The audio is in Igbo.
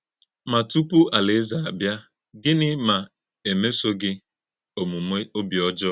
Má̄ tupu Álàèzè̄ a bịa, gị́nị̄ mà e mèsọ̀̄ gị̄ òmùmè̄ òbí ọ́jọọ̄?